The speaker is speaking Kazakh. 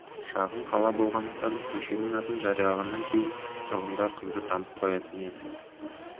шағын қала болғандықтан көшенің атын жариялағаннан кейін тұрғындар қызды танып қоятын еді